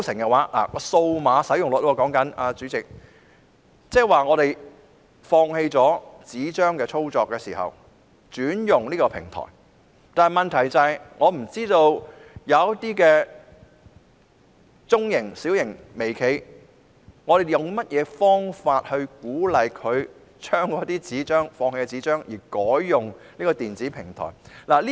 主席，數碼使用率關乎用戶會否放棄以紙張方式處理強積金行政交易，轉用電子平台，但當局如何鼓勵中小微企放棄紙張方式而改用電子平台呢？